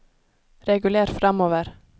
reguler framover